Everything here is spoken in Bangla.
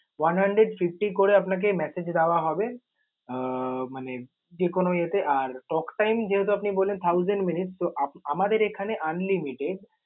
one hundred fifty করে আপনাকে message দেওয়া হবে। আহ মানে যে কোনো ইয়ে তে, আর talk time যেহেতু আপনি বললেন thousand minutes so আমাদের এখানে unlimited ।